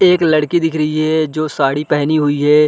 एक लड़की दिख रही है जो साड़ी पेहनी हुई है।